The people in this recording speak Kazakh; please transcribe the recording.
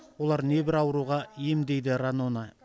олар небір ауруға ем дейді ранона